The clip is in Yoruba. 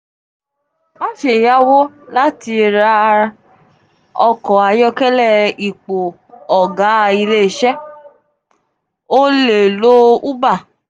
ma ṣe yawo lati ra ra “ọkọ ayọkẹlẹ ipo” òga ile iṣẹ́ o le lo uber.